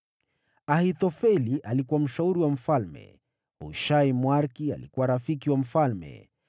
Ahithofeli alikuwa mshauri wa mfalme. Hushai Mwariki alikuwa rafiki wa mfalme.